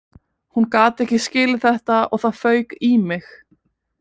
Hún gat ekki skilið þetta og það fauk í mig